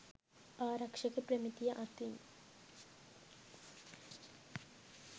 ආරක්ෂක ප්‍රමිතිය අතින්